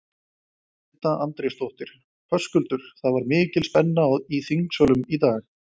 Edda Andrésdóttir: Höskuldur, það var mikil spenna í þingsölum í dag?